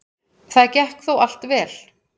Það gekk þó allt vel.